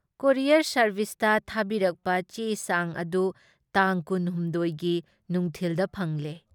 Courier ꯁꯥꯔꯚꯤꯁꯇ ꯊꯥꯕꯤꯔꯛꯄ ꯆꯦ ꯆꯥꯡ ꯑꯗꯨ ꯇꯥꯡ ꯀꯨꯟ ꯍꯨꯝꯗꯣꯏ ꯒꯤ ꯅꯨꯡꯈꯤꯜꯗ ꯐꯪꯂꯦ ꯫